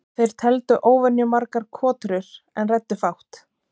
Þeir tefldu óvenjumargar kotrur en ræddu fátt.